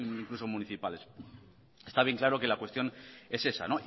incluso municipales está bien claro que la cuestión es esa